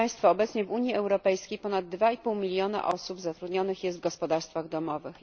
Obecnie w Unii Europejskiej ponad 2,5 miliona osób zatrudnionych jest w gospodarstwach domowych.